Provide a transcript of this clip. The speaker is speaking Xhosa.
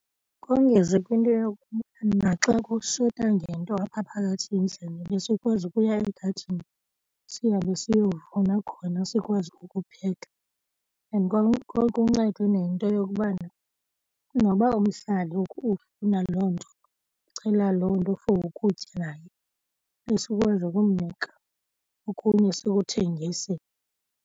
Kongeze kwinto yokuba naxa kushota ngento apha phakathi endlini besikwazi ukuya egadini sihambe siyovuna khona sikwazi ukupheka. And kwakuncede nento yokubana noba umhlali ufuna loo nto, ucela loo nto for ukutya naye besikwazi ukumnika okunye sikuthengise.